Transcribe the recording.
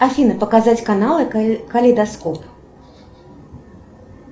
афина показать каналы калейдоскоп